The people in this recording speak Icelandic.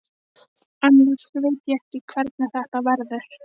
Honum fannst hann kannast við þig.